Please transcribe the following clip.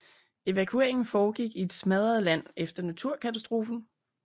Evakueringen foregik i et smadret land efter naturkatastrofen